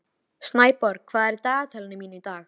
Snæborg, hvað er í dagatalinu mínu í dag?